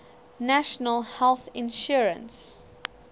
national health insurance